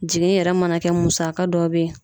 Jigin yɛrɛ mana kɛ musaka dɔ be ye